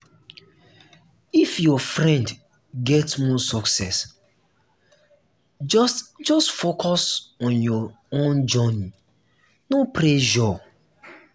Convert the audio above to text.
if your friend get more success just just focus on your own journey no pressure.